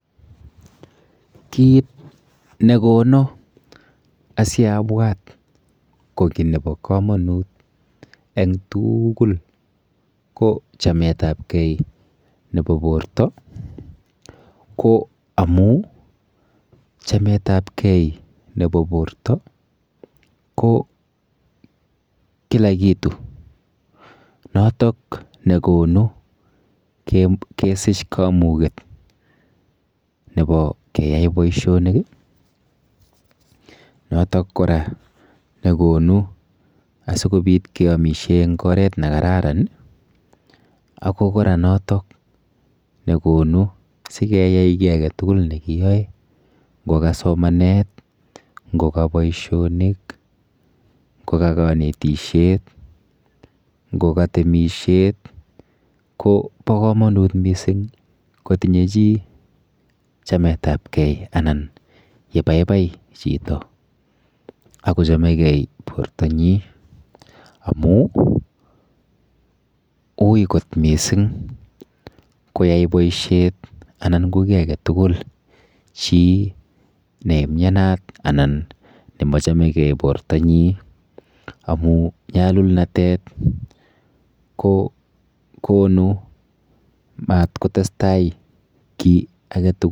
Kit nekono asiabwat ko kiy nepo komonut eng tuugul ko chametapkei nepo porto ko amu chametapkei nepo porto ko kila kitu notok nekonu kesich kamuket nepo keyai boishonik, notok kora nekonu asikobit keamishe eng oret nekararan ako kora notok nekonu asikeyai kiy aketugul neiyoe nko ka somanet nko ka boishonik, nkoka kanetishet, nkoka temishet, kopo komonut mising kotinye chi chametapkei anan yebaibai chito akochomegei bortonyi amu ui mising koyai boishet anan ko kiy aketugul chi neimyenat anan nemachomegei portonyi amu nyalulnatet kokonu mat kotestai kiy aketugul.